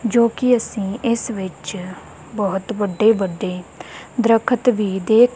ਜੋ ਕਿ ਅਸੀਂ ਇਸ ਵਿਚ ਬੋਹਤ ਵੱਡੇ ਵੱਡੇ ਦਤਖਤ ਵੀ ਦੇਖ।